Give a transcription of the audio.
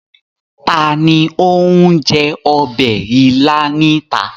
Ta ni ó ń jẹ ọbẹ̀ il níta?